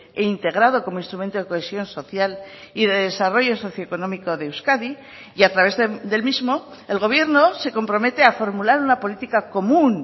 e integrado como instrumento de cohesión social y de desarrollo socio económico de euskadi y a través del mismo el gobierno se compromete a formular una política común